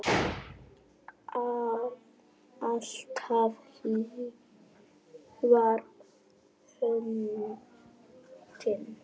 Alltaf hlý var höndin þín.